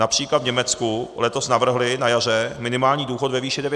Například v Německu letos navrhli na jaře minimální důchod ve výši 900 eur.